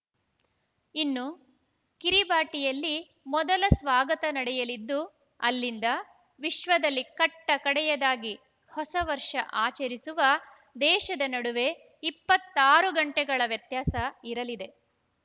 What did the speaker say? ಇನ್ನು ಕಿರಿಬಾಟಿಯಲ್ಲಿ ಮೊದಲ ಸ್ವಾಗತ ನಡೆಯಲಿದ್ದು ಅಲ್ಲಿಂದ ವಿಶ್ವದಲ್ಲಿ ಕಟ್ಟಕಡೆಯದಾಗಿ ಹೊಸ ವರ್ಷ ಆಚರಿಸುವ ದೇಶದ ನಡುವೆ ಇಪ್ಪತ್ತಾರು ಗಂಟೆಗಳ ವ್ಯತ್ಯಾಸ ಇರಲಿದೆ